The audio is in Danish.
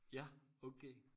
ja okay